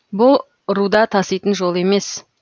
бұ руда таситын жол емес